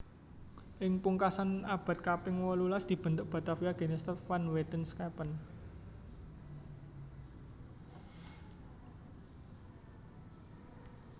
Ing pungkasan abad kaping wolulas dibentuk Bataviaasch Genotschap van Wetenschappen